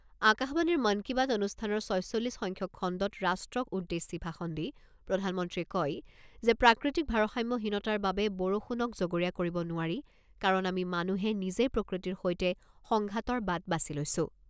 আকাশবাণীৰ মন কী বাত অনুষ্ঠানৰ ছয়চল্লিছ সংখ্যক খণ্ডত ৰাষ্ট্ৰক উদ্দেশ্যি ভাষণ দি প্ৰধানমন্ত্ৰীয়ে কয় যে প্ৰাকৃতিক ভাৰসাম্যহীনতাৰ বাবে বৰষুণক জগৰীয়া কৰিব নোৱাৰি কাৰণ আমি মানুহে নিজেই প্ৰকৃতিৰ সৈতে সংঘাতৰ বাট বাছি লৈছো।